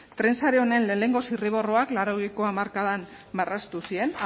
tren sare honen lehenengo zirriborroak laurogeiko hamarkadan marraztu ziren